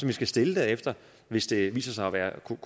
vi skal stille derefter hvis det viser sig at kunne